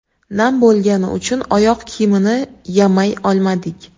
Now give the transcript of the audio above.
Nam bo‘lgani uchun oyoq kiyimini yamay olmadik.